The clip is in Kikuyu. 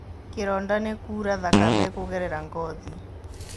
Kĩronda nĩ kuura thakame kũgerera ngothi.